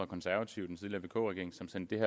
konservative den tidligere vk regering som sendte